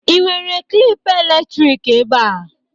Ị nwere klịp elektrik ebea?